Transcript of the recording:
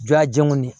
Jɔn a jɛnw de